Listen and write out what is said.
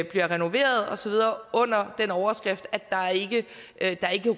bliver renoveret osv under den overskrift at der ikke